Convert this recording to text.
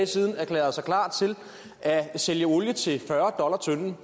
siden erklærede sig klar til at sælge olie til fyrre dollar tønden